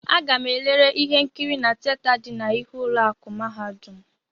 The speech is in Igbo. Aga-m elere ihe nkiri na tieta dị n'ihu ụlọ akụ mahadum.